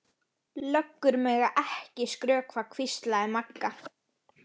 Löggur mega ekki skrökva, hvíslaði Magga.